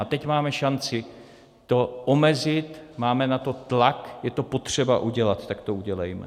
A teď máme šanci to omezit, máme na to tlak, je to potřeba udělat, tak to udělejme.